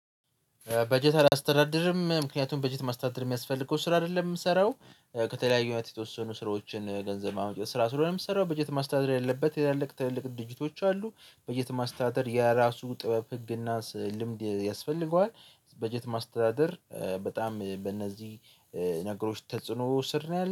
በጀት አላስተዳድርም ምክንያቱም በጀት ማስተዳደር የሚያስፈልገው ስራ አይደለም የምሰራው ከተለያዩ አይነት የተወሰኑ ስራዎችን ገንዘብ ማመንጨት ስራ ስለሆነ የምሰራው በጀት ማስተዳደር ያለበት ትላልቅ ትልልቅ ድርጅቶች አሉ። በጀት ማስተዳደር የራሱ ጥበብ ህግ እና ስዕ ልምድ ያስፈልገዋል። በጀት ማስተዳደር በጣም በእነዚህ ነገሮች ተጽዕኖ ስር ነው ያለው።